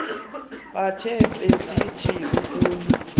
mathe besithi akuyi